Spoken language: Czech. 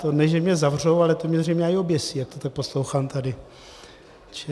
To ne že mě zavřou, ale to mě zřejmě aj oběsí, jak to tak poslouchám tady.